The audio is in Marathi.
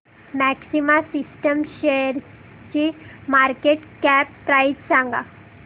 मॅक्सिमा सिस्टम्स शेअरची मार्केट कॅप प्राइस सांगा